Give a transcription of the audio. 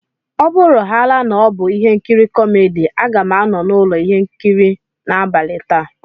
Ọ bụrụhàála na ọ bụ ihe nkiri kómédy, a ga m anọ n'ụlọ ihe nkiri n'abalị taa